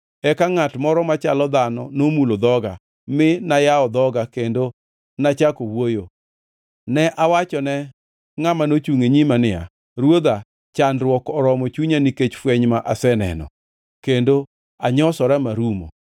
Eka ngʼat moro machalo dhano nomulo dhoga, mi nayawo dhoga kendo nachako wuoyo. Ne awachone ngʼama nochungʼ e nyima niya, “Ruodha, chandruok oromo chunya nikech fweny ma aseneno, kendo anyosora marumo.